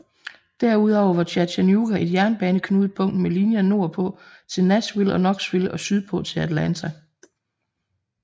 Derudover var Chattanooga et jernbaneknudepunkt med linjer nordpå til Nashville og Knoxville og sydpå til Atlanta